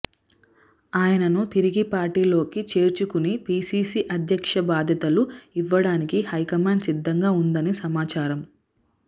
ఆయనను తిరిగి పార్టీలోకి చేర్చుకుని పీసీసీ అధ్యక్ష బాధ్యతలు ఇవ్వడానికి హై కమాండ్ సిద్ధంగా ఉందని సమాచారం